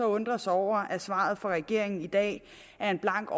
undre os over at svaret fra regeringen i dag er en blank